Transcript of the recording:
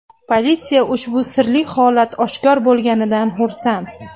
Politsiya ushbu sirli holat oshkor bo‘lganidan xursand.